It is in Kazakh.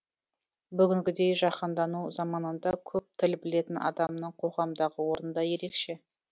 бүгінгідей жаһандану заманында көп тіл білетін адамның қоғамдағы орны да ерекше